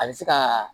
A bɛ se ka